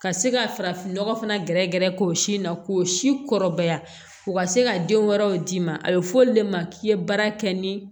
Ka se ka farafinnɔgɔ fana gɛrɛgɛrɛ k'o si in na k'o si kɔrɔbaya u ka se ka den wɛrɛw d'i ma a bɛ fɔ olu de ma k'i ye baara kɛ ni